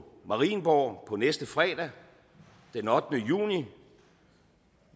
marienborg på næste fredag den ottende juni